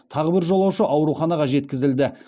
тағы бір жолаушы ауруханаға жеткізілді